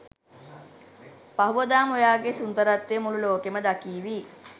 පහුවදාම ඔයාගෙ සුන්දරත්වය මුළු ලෝකෙම දකීවි.